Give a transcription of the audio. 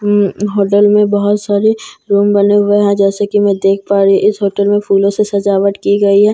उम hotel में बहुत सारे रूम बने हुए हैं जैसा की मैं देख पा रही हूँ इस होटल मे फूलों से सजावट की गई है जैसे --